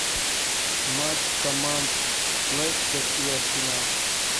матч команд лестер и арсенал